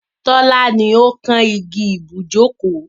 Tọ́lá ni ó kán igi ibùjókòó.